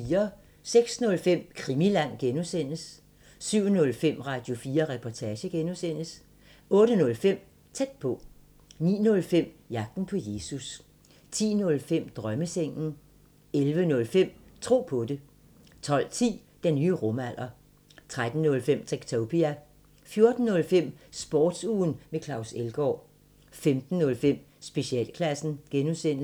06:05: Krimiland (G) 07:05: Radio4 Reportage (G) 08:05: Tæt på 09:05: Jagten på Jesus 10:05: Drømmesengen 11:05: Tro på det 12:10: Den nye rumalder 13:05: Techtopia 14:05: Sportsugen med Claus Elgaard 15:05: Specialklassen (G)